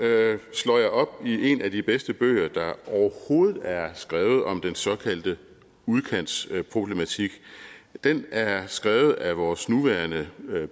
slår jeg op i en af de bedste bøger der overhovedet er skrevet om den såkaldte udkantsproblematik den er skrevet af vores nuværende